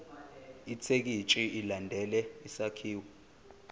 ithekisthi ilandele isakhiwo